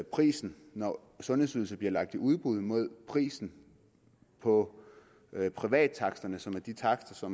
prisen når sundhedsydelser bliver lagt i udbud med prisen på privattaksterne som er de takster